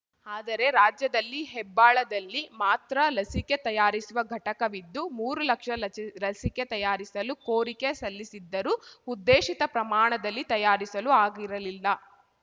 ಆದರೆ ರಾಜ್ಯದಲ್ಲಿ ಹೆಬ್ಬಾಳದಲ್ಲಿ ಮಾತ್ರ ಲಸಿಕೆ ತಯಾರಿಸುವ ಘಟಕವಿದ್ದು ಮೂರು ಲಕ್ಷ ಲಚಿ ರಸಿಕೆ ತಯಾರಿಸಲು ಕೋರಿಕೆ ಸಲ್ಲಿಸಿದ್ದರೂ ಉದ್ದೇಶಿತ ಪ್ರಮಾಣದಲ್ಲಿ ತಯಾರಿಸಲು ಆಗಿರಲಿಲ್ಲ